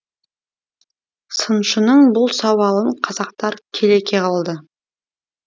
сыншының бұл сауалын қазақтар келеке қылды